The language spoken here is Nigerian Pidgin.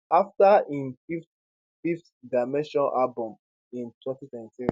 afta im fifth fifth dimension album in 2023